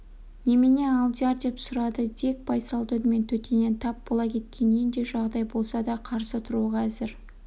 немене алдияр деп сұрады дик байсалды үнмен төтеннен тап бола кеткен нендей жағдай болса да қарсы тұруға әзір